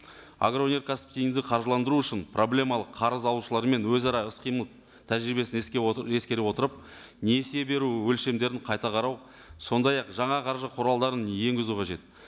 агроөнеркәсіпті тиімді қаржыландыру үшін проблемалық қарыз алушылар мен өзара іс қимыл тәжірибесін ескере отырып несие беру өлшемдерін қайта қарау сондай ақ жаңа қаржы құралдарын енгізу қажет